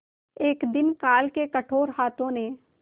एक दिन काल के कठोर हाथों ने